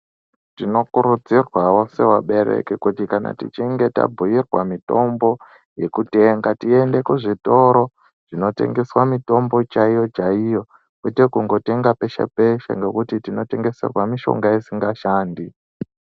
Tinokurudzirwawo sevabereki kuti kana tichinge tabhuyirwa mitombo yekutenga tiende kuzvitoro zvinotengeswa mitombo chaiyo chaiyo. Kwete kungotenga peshe peshe ngokuti tinotengeserwa mishonga isingashandi.